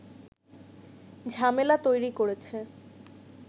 ঝামেলা তৈরি করেছে